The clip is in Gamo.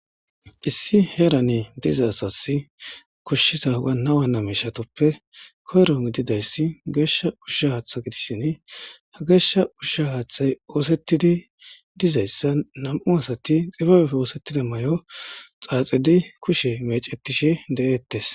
Issi heerane diza asasi koshshiza wana wana mishatuppe koyro gidida issi geeshsha ushsha haaththa gidisshin, ha geeshsha ushsha haaththay oosettidi diza issa nam'u asati xibabepppe oosettida mayo xaaxidi kushe mecetishe de'eettes.